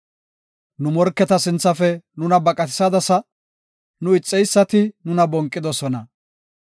Nu morketa sinthafe nuna baqatisadasa; nu ixeysati nuna bonqidosona.